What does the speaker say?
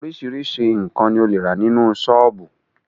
Oríṣiríṣi nkan ni o le rà nínú sọ́ọ́bù